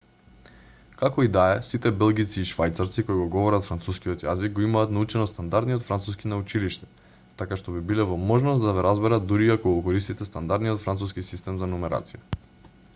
како и да е сите белгијци и швајцарци кои го говорат францускиот јазик го имаат научено стандардниот француски на училиште така што би биле во можност да ве разберат дури и ако го користите стандардниот француски систем за нумерација